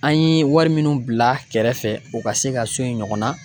An ye wari minnu bila kɛrɛfɛ, o ka se ka so in ɲɔgɔnna